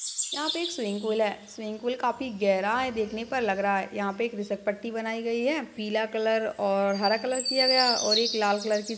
यहाँ पे एक स्विमिंग पूल है स्विमिंग पूल काफी गहरा है देखने पर लग रहा है यहा पे एक घिसल पट्टी बनाई गई है पीला कलर और हरा कलर किया गया और एक लाल कलर की--